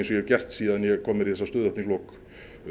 ég hef gert síðan ég kom mér í þessa stöðu þarna í lok